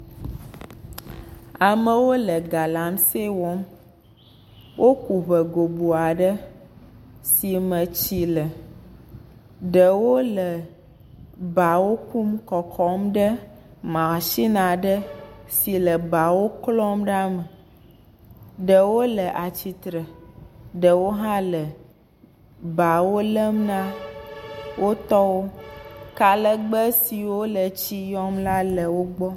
Amewo le galamsɛ wɔm. woku ŋe goboa ɖe si me tsi le. Ɖewo le bawo kum kɔkɔm ɖe masinia ɖe si le bawo klɔm ɖa mm. Ɖewo le atsitre. Ɖewo hã le bawo lem na wo tɔwo. Kalegbe siwo le tsi yɔm la le wo gbɔ.